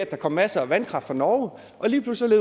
der kom masser af vandkraft fra norge og lige pludselig